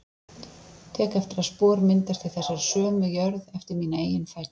Tek eftir að spor myndast í þessari sömu jörð eftir mína eigin fætur.